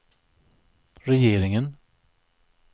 regeringen